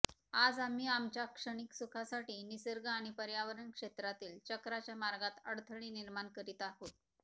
आज आम्ही आमच्या क्षणिक सुखासाठी निसर्ग आणि पर्यावरण क्षेत्रातील चक्राच्या मार्गात अडथळे निर्माण करीत आहोत